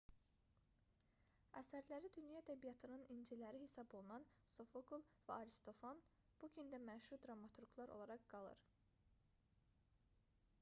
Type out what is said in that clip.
əsərləri dünya ədəbiyyatının inciləri hesab olunan sofokl və aristofan bu gün də məşhur dramaturqlar olaraq qalır